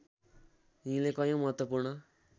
यिनले कयौँ महत्त्वपूर्ण